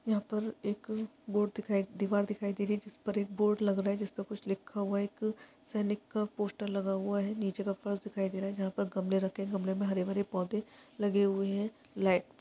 यहाँ पर एक बोर्ड दिखाई दीवार दिखाई दे रही है जिस पर एक बोर्ड लग रहा है जिस पर कुछ लिखा हुआ हैएक सैनिक का पोस्टर लगा हुआ हैं नीचे का फर्स दिखाई दे रहा है जहाँ पर गमले रखे गमले में हरे -भरे पौधे लगे हुए हैलाईट --